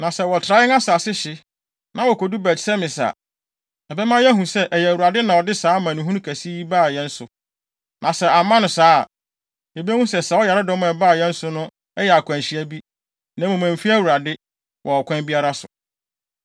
Na sɛ wɔtra yɛn asase hye, na wokodu Bet-Semes a, ɛbɛma yɛahu sɛ, ɛyɛ Awurade na ɔde saa amanehunu kɛse yi baa yɛn so. Na sɛ amma no saa a, yebehu sɛ saa ɔyaredɔm a ɛbaa yɛn so no yɛ akwanhyia bi, na mmom, emfi Awurade, wɔ ɔkwan biara so.”